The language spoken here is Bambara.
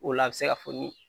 O la a be se ka foni